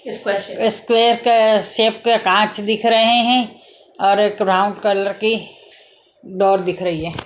Square shape के कांच दिख रहे हैं और एक राउंड कलर की डाल दिख रही है।